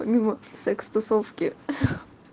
помимо секс тусовки